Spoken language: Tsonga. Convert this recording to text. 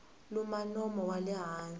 luma nomo wa le hansi